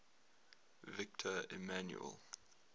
victor emmanuel